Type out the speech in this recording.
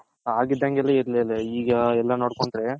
ಅಗ್ ಇದಂಗ್ ಈಗ ಎಲ್ಲಾ ನೋಡ್ಕೊಂಡ್ರೆ